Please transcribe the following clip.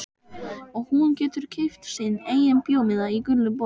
Og hún getur keypt sinn eigin bíómiða í gulu bíói.